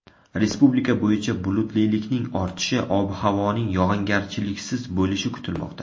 Respublika bo‘yicha bulutlilikning ortishi, ob-havoning yog‘ingarchiliksiz bo‘lishi kutilmoqda.